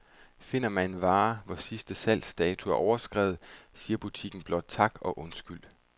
Finder man en vare, hvor sidste salgsdato er overskredet, siger butikken blot tak og undskyld.